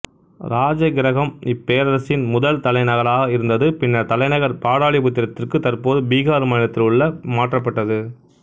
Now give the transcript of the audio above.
ராஜகிரகம் இப்பேரரசின் முதல் தலைநகராக இருந்தது பின்னர் தலைநகர் பாடலிபுத்திரத்திற்கு தற்போது பீகார் மாநிலத்தில் உள்ள மாற்றப்பட்டது